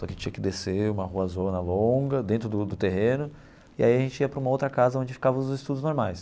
Só que tinha que descer uma ruazona longa, dentro do do terreno, e aí a gente ia para uma outra casa onde ficavam os estudos normais.